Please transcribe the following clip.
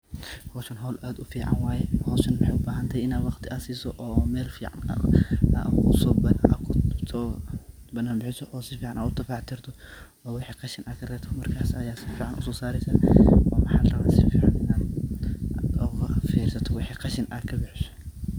Howshan howl aad u fcn waye , howshan waxey u bahanthay inaa waqti aa siso oo mel fican aad uso badan bixiso oo si fican aad u dafac tirto, oo wixi qashin aa karebto markas ayaa si fican uso saresaa aad u farisatoo oo wixi qashin aad kabixiso.